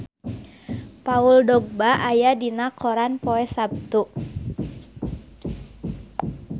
Paul Dogba aya dina koran poe Saptu